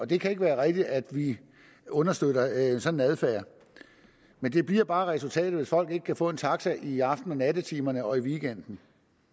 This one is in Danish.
det kan ikke være rigtigt at vi understøtter en sådan adfærd men det bliver bare resultatet hvis folk ikke kan få en taxa i aften og nattetimerne og i weekenden